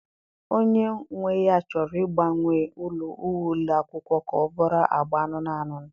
Onye nwe ya chọrọ ịgbanwe uwe ụlọ akwụkwọ ka ọ bụrụ agba anụnụ anụnụ.